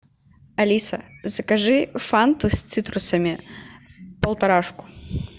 алиса закажи фанту с цитрусами полторашку